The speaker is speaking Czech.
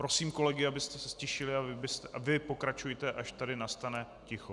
Prosím kolegy, aby se ztišili, a vy pokračujte, až tady nastane ticho.